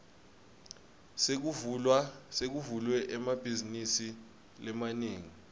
sekuvulwe emabhazinisi lamanengi